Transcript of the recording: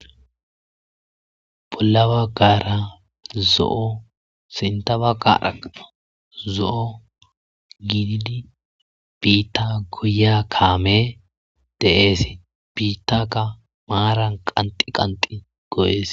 Bolla bagara zo'o sintha baggaraka zo'o gididi biita goyiya kaamey deesi. Biitaka maaran qanxxi qanxxi goyeesi.